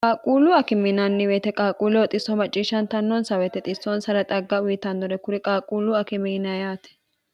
qaaquullu akiminanniweyete qaaquulle oxisso macciishshantannonsa weete xissoonsara xagga uyitannore kuri qaaquullu akimiina yaate